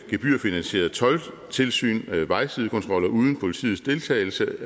gebyrfinansieret toldtilsyn og vejsidekontroller uden politiets deltagelse